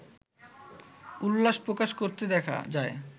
উল্লাস প্রকাশ করতে দেখা যায়